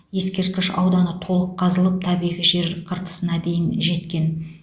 ескерткіш ауданы толық қазылып табиғи жер қыртысына дейін жеткен